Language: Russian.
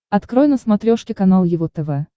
открой на смотрешке канал его тв